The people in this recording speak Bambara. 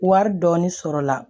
Wari dɔɔni sɔrɔla